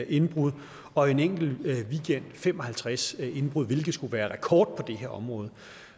indbrud og en enkelt weekend fem og halvtreds indbrud hvilket skulle være rekord på det her område